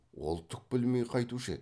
ол түк білмей қайтушы еді